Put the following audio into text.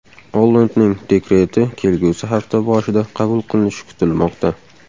Ollandning dekreti kelgusi hafta boshida qabul qilinishi kutilmoqda.